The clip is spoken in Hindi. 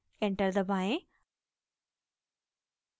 enter दबाएं